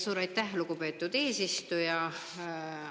Suur aitäh, lugupeetud eesistuja!